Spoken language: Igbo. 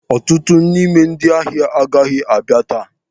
Ọtụtụ n'ime ndị ahịa agaghị abịa taa.